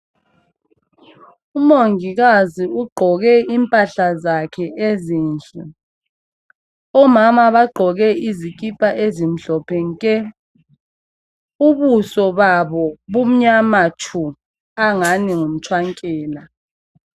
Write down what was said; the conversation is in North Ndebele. Umongikazi ugqoke impahla zakhe ezinhle. Omama bagqoke izikhipha ezimhlophe. Ubuso babo bumnyama tshu njengomtshwankela.